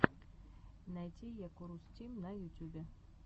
найти якурус тим на ютюбе